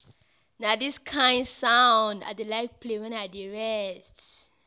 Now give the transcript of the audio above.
Na dis kain sound I dey like play wen I dey rest.